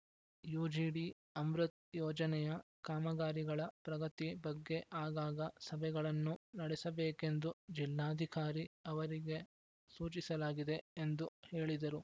UGD Amrut ಯೋಜನೆಯ ಕಾಮಗಾರಿಗಳ ಪ್ರಗತಿ ಬಗ್ಗೆ ಆಗಾಗ ಸಭೆಗಳನ್ನು ನಡೆಸಬೇಕೆಂದು ಜಿಲ್ಲಾಧಿಕಾರಿ ಅವರಿಗೆ ಸೂಚಿಸಲಾಗಿದೆ ಎಂದು ಹೇಳಿದರು